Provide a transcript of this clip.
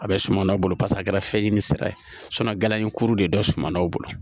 A bɛ suman na o bolo pase a kɛra fɛn ɲɛnini sira ye galayuru de don sumanw bolo